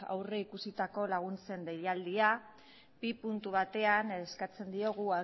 aurrikusitako laguntzen deialdiak bigarren puntu batean eskatzen diogu